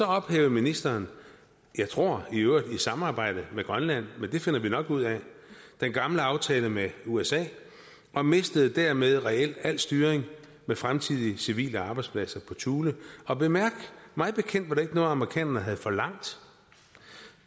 ophævede ministeren jeg tror i øvrigt i samarbejde med grønland men det finder vi nok ud af den gamle aftale med usa og mistede dermed reelt al styring med fremtidige civile arbejdspladser i thule og bemærk mig bekendt var det ikke noget amerikanerne havde forlangt